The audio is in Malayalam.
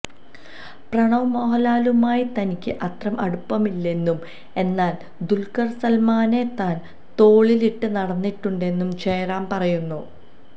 പ്രണവ് മോഹന്ലാലുമായി തനിക്ക് അത്ര അടുപ്പമില്ലെന്നും എന്നാല് ദുല്ഖര് സല്മാനെ താന് തോളിലിട്ട് നടന്നിട്ടുണ്ടെന്നും ജയറാം പറയുന്നു